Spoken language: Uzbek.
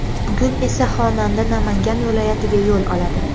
Bugun esa xonanda Namangan viloyatiga yo‘l oladi.